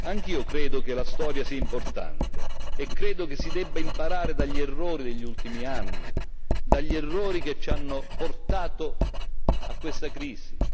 Anch'io credo che la storia sia importante e credo che si debba imparare dagli errori degli ultimi anni, dagli errori che ci hanno portato a questa crisi.